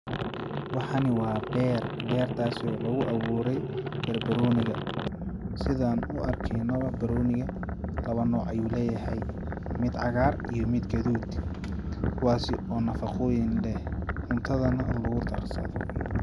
Waxani waa beer bertaasi oo lagu aburay barbarooniga sidaan u arkeeno barbarooniga lawa nooc ayuu leyahay mid cagaar iyo mud gaduud kuwaas oo nafaqoyin leh cuntada nah lagu darsado.